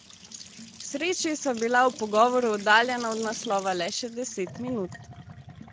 K sreči sva bila ob pogovoru oddaljena od naslova le še deset minut.